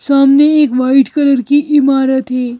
सामने एक white colour की इमारत है।